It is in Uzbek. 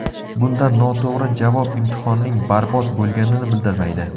Bunda noto‘g‘ri javob imtihonning barbod bo‘lganini bildirmaydi.